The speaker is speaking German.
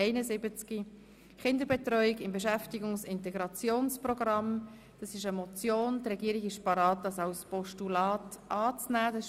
Die Regierung ist bereit, diese Motion als Postulat anzunehmen.